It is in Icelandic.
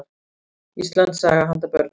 Íslandssaga handa börnum.